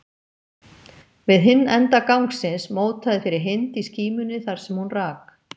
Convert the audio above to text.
Við hinn enda gangsins mótaði fyrir Hind í skímunni þar sem hún rak